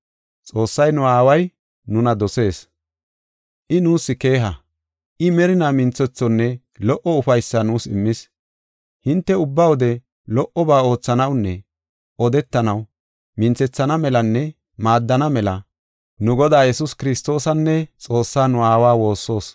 Xoossay nu aaway nuna dosees. I nuus keeha; I merinaa minthethonne lo77o ufaysaa nuus immis. Hinte ubba wode lo77oba oothanawunne odetanaw minthethana melanne maaddana mela nu Godaa Yesuus Kiristoosanne Xoossaa nu aawa woossoos.